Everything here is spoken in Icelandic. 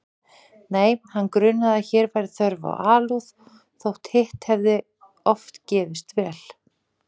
Nei, hann grunaði að hér væri þörf á alúð þótt hitt hefði oft gefist vel.